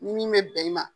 Ni min bɛ bɛn i ma